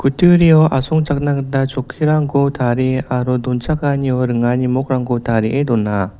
kutturio asongchakna gita chokkirangko tarie aro donchakanio ringani mog -rangko tarie dona.